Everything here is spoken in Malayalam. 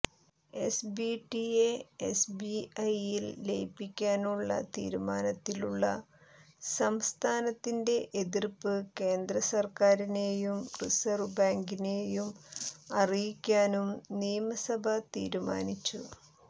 എസ്ബിറ്റിയെ എസ്ബിഐയിൽ ലയിപ്പിക്കാനുള്ള തീരുമാനത്തിലുള്ള സംസ്ഥാനത്തിന്റെ എതിർപ്പ് കേന്ദ്ര സർക്കാരിനെയും റിസർവ് ബാങ്കിനെയും അറിയിക്കാനും നിയമസഭ തീരുമാനിച്ചു